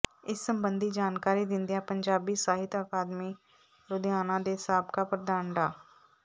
ਇਸ ਸਬੰਧੀ ਜਾਣਕਾਰੀ ਦਿੰਦਿਆਂ ਪੰਜਾਬੀ ਸਾਹਿਤ ਅਕਾਡਮੀ ਲੁਧਿਆਣਾ ਦੇ ਸਾਬਕਾ ਪ੍ਰਧਾਨ ਡਾ